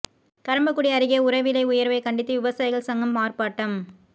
கறம்பக்குடி அருகே உர விலை உயர்வை கண்டித்து விவசாயிகள் சங்கம் ஆர்ப்பாட்டம்